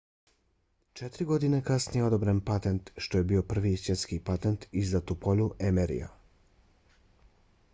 četiri godine kasnije je odobren patent što je bio prvi svjetski patent izdat u polju mri-a